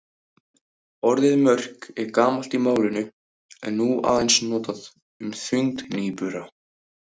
Orðið mörk er gamalt í málinu en er nú aðeins notað um þyngd nýbura.